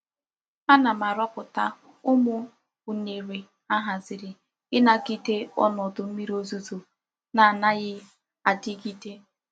Ana m aroputa umu unere a haziri inagide onodu mmiri ozuzo na-anaghi adigide.